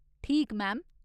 ठीक, मैम।